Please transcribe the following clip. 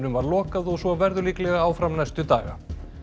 var lokað og svo verður líklega áfram næstu daga